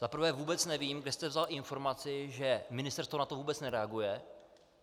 Za prvé vůbec nevím, kde jste vzal informaci, že ministerstvo na to vůbec nereaguje.